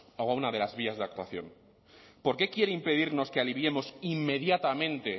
o a una de las vías de actuación por qué quiere impedirnos que aliviemos inmediatamente